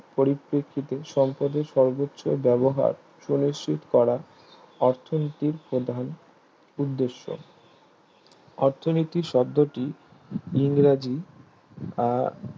পরিপেক্ষিতে সম্পদের সর্বোচ্চ ব্যবহার সুনিশ্চিত করা অর্থনীতির প্রধান উদ্দেশ অর্থনীতির শব্ধটি ইংরেজি আহ